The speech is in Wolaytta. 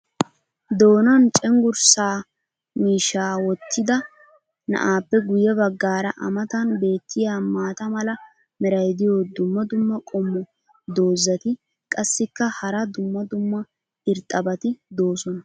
doonan cenggursaa miishshaa wottida na"aappe guye bagaara a matan beetiya maata mala meray diyo dumma dumma qommo dozzati qassikka hara dumma dumma irxxabati doosona.